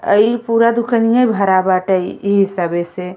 अइ पूरा दुकनिया भरा बाटे इ सबे से।